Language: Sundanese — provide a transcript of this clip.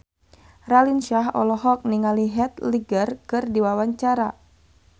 Raline Shah olohok ningali Heath Ledger keur diwawancara